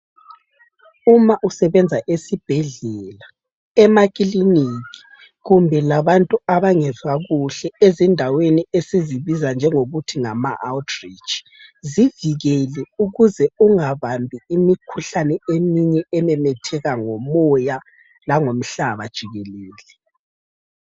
Uma usebenza esibhedlela, emakiliniki kumbe labantu abangezwa kuhle ezindaweni esizibiza njengokuthi ngama outreach, uzivikele ukuze ungabambi imikhuhlane eminye ememetheka ngomoya langomhlaba jikelele.